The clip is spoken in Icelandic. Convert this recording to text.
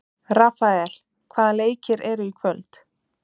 Rafael, hvaða leikir eru í kvöld?